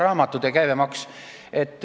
Aa, raamatute käibemaks.